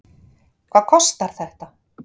Hvað kostar þetta?